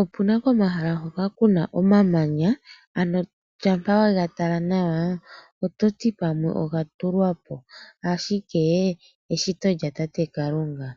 Opena komahala hoka kuna omamanya, ano shama wega tala nawa ototi pamwe oga tulwapo ashike eshito lya tate Kalunga .